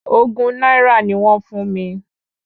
Ogún náírà ni wọ́n fún mi